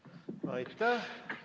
Kas fraktsioonidel on läbirääkimiste soovi?